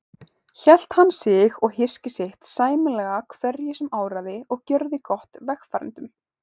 Hélt hann sig og hyski sitt sæmilega hverju sem áraði og gjörði gott vegfarendum.